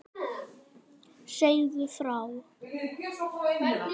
Segðu frá.